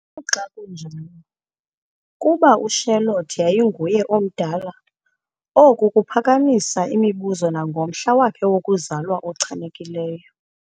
Noxa kunjalo, kuba uCharlotte yayinguye omdala, oku kuphakamisa imibuzo nangomhla wakhe wokuzalwa ochanekileyo.